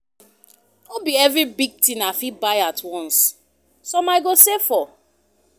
No be every big thing I fit buy at once, some I go save for.